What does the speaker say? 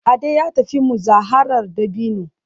Ade ya tafi muzaharar dabino